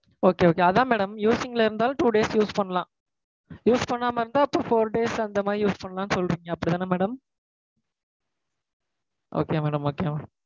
Okay okay. அதான் madam using ல இருந்தாலும் two days use பண்லாம். Use பண்ணாம இருந்தா அப்போ four days, அந்த மாதிரி use பண்ணலாம் சொல்றீங்க. அப்படி தானே madam? Okay madam okay madam